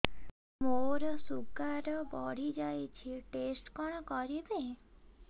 ମୋର ଶୁଗାର ବଢିଯାଇଛି ଟେଷ୍ଟ କଣ କରିବି